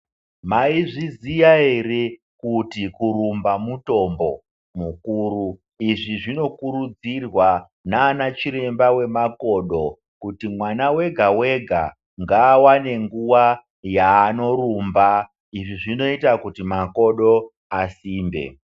Maizviziya ere kuti kurumba mutombo mukuru izvi zvinokurudzirwa nana chiremba wemakodo kuti mwana wega wega ngaawane nguwa yaanorumba izvi zvinoita kuti makodo asimbe.